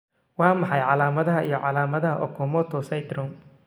Waa maxay calaamadaha iyo calaamadaha Okamoto syndrome?